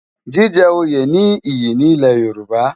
Jijè óyé ni iyi ni Ilè Yoruba